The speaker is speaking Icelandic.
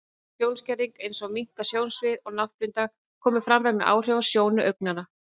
Sjónskerðing, eins og minnkað sjónsvið og náttblinda, koma fram vegna áhrifa á sjónu augnanna.